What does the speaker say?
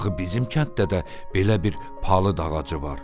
Axı bizim kənddə də belə bir palıd ağacı var.